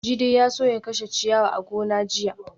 Jide ya so ya kashe ciyawar a gonar jiya